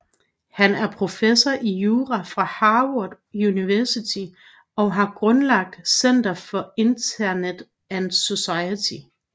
Han er professor i jura fra Harvard Universitet og har grundlagt Center for Internet and Society